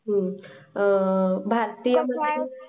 आ भारतीय.